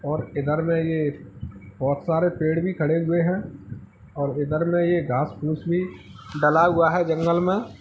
और इधर में ये बहुत सारे पेड़ भी खड़े हुए है और इधर में ये घास फूस भी डला हुआ है जंगल में।